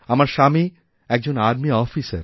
আমার স্বামী একজন আর্মি অফিসার